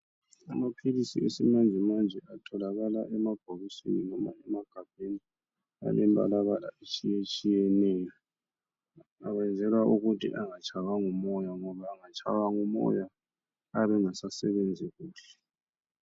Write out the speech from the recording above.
Amaphilisi esimanjemanje atholakala emabhokisini loba emagabheni alembalabala etshiyetshiyeneyo. Ayenzelwa ukuthi anagatshaywa ngumoya, ngoba engatshaywa ngumoya ayabe engasasebenzi kuhle.